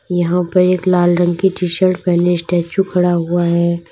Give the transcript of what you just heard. यहां पे एक लाल रंग की टी शर्ट पहने स्टेच्यू खड़ा है।